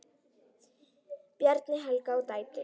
Bjarni, Helga og dætur.